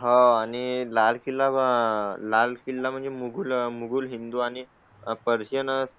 हां आणि लाल किल्ला लाल किल्ला म्हणजे मुलं मुली हिंदू आणि पर्सन्स